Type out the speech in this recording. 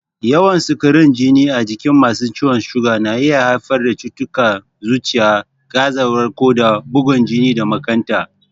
Yawan sukarin jini a jikin masu ciwon suga na iya haifar da cututtukan zuciya, gazawar koda, bugun jini da makanta.